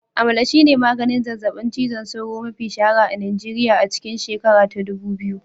Amalara shine maganin zazzabin cizon sauro mafi shahara a Nigeriya a cikin shekara ta dubu biyu